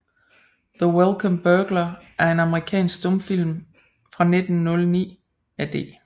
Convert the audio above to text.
The Welcome Burglar er en amerikansk stumfilm fra 1909 af D